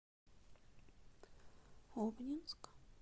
обнинск